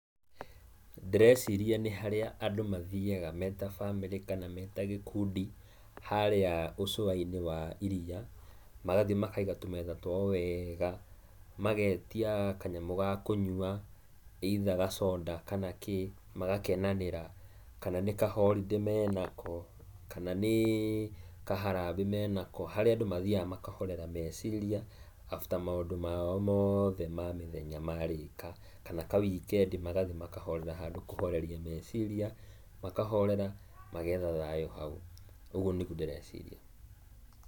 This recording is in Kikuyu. Ndĩreciria nĩ harĩa andũ mathiyaga me ta bamĩrĩ kana me ta gĩkundi, harĩa ũcũwainĩ wa iriya. Magathiĩ makaiga tũmetha twao wega, magetia kanyamũ ga kũnyua either gathonda kana kiĩ, magakenanĩra. Kana nĩ kahoridĩ menako kana nĩ kaharambĩ menako, harĩa andũ mathiyaga makahorera meciria after maũndũ mao mothe ma mĩthenya marĩka. Kana kawikendi magathiĩ makahorera handũ, kũhoreria meciria makahorera magetha thayũ hau. Ũguo nĩguo ndĩreciria.